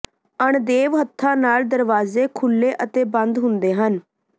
ਅਣਦੇਵ ਹੱਥਾਂ ਨਾਲ ਦਰਵਾਜ਼ੇ ਖੁੱਲ੍ਹੇ ਅਤੇ ਬੰਦ ਹੁੰਦੇ ਹਨ